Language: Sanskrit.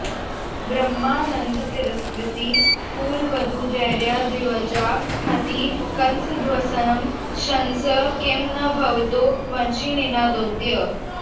ब्रह्मानन्दतिरस्कृतिः कुलवधूधैर्याद्रिवज्राहतिः कंसध्वंसन शंस किं न भवतो वंशीनिनादोदयः